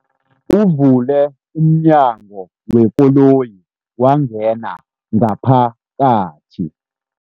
Uvule umnyango wekoloyi wangena ngaphakathi.